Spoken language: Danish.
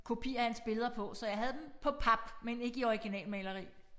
Kopi af hans billeder på så jeg havde dem på pap men ikke i originalmaleri